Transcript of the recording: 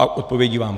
A odpovědí vám.